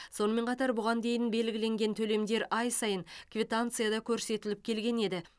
сонымен қатар бұған дейін белгіленген төлемдер ай сайын квитанцияда көрсетіліп келген еді